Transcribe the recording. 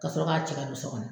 Ka sɔrɔ k'a cɛ ka don so kɔnɔ.